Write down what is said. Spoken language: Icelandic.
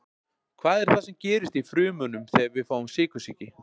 Hvað er það sem gerist í frumunum þegar við fáum sykursýki?